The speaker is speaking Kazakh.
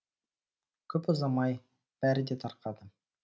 көп ұзамай бәрі де тарқады